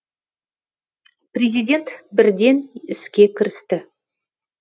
президент бірден іске кірісті